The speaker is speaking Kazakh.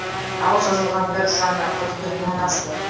ал жазылғандар саны қырық төрт мыңнан асты